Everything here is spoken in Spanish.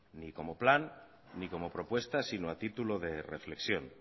ni como plan ni como propuesta sino a título de reflexión